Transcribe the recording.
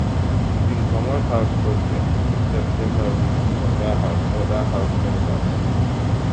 e bin comot house for 22 september wit two oda house oda house members